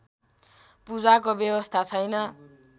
पूजाको व्यवस्था छैन